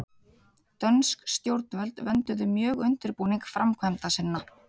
Dönsk stjórnvöld vönduðu mjög undirbúning framkvæmda sinna.